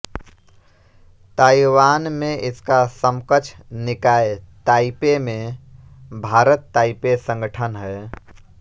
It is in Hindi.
ताइवान में इसका समकक्ष निकाय ताइपे में भारतताइपे संगठन है